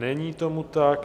Není tomu tak.